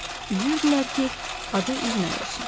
Üzürdülər ki, adı üzməyə olsun.